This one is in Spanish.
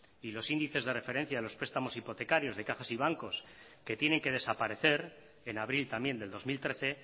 y los índices de referencia de los prestamos hipotecarios de cajas y bancos que tienen que desaparecer en abril también del dos mil trece